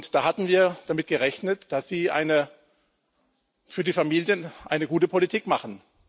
Da hatten wir damit gerechnet, dass Sie für die Familien eine gute Politik machen.